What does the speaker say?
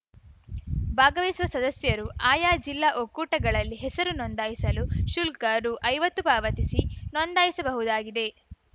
ಭಾಗವಹಿಸುವ ಸದಸ್ಯರು ಆಯಾ ಜಿಲ್ಲಾ ಒಕ್ಕೂಟಗಳಲ್ಲಿ ಹೆಸರು ನೋಂದಾಯಿಸಲು ಶುಲ್ಕ ರು ಐವತ್ತು ಪಾವತಿಸಿ ನೋಂದಾಯಿಸಬಹುದಾಗಿದೆ